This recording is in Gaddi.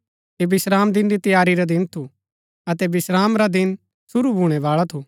ऐह विश्रामदिन री तैयारी रा दिन थू अतै विश्राम रा दिन सुरू भूणै बाळा थू